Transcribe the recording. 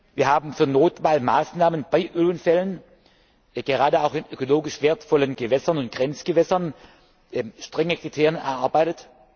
Wir haben für Notfallmaßnahmen bei Ölunfällen, gerade auch in ökologisch wertvollen Gewässern und Grenzgewässern, strenge Kriterien erarbeitet.